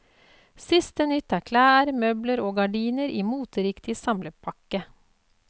Siste nytt er klær, møbler og gardiner i moteriktig samlepakke.